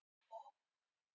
Hvernig fer dáleiðsla fram?